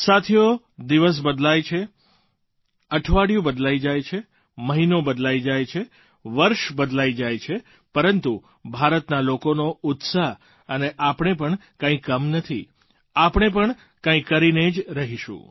સાથીઓ દિવસ બદલાય છે અઠવાડિયું બદલાઈ જાય છે મહિનો બદલાઈ જાય છે વર્ષ બદલાઈ જાય છે પરંતુ ભારતના લોકોનો ઉત્સાહ અને આપણે પણ કંઈ કમ નથી આપણે પણ કંઈ કરીને જ રહીશું